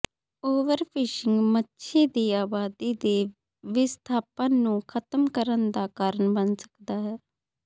overfishing ਮੱਛੀ ਦੀ ਆਬਾਦੀ ਦੇ ਵਿਸਥਾਪਨ ਨੂੰ ਖਤਮ ਕਰਨ ਦਾ ਕਾਰਨ ਬਣ ਸਕਦਾ ਹੈ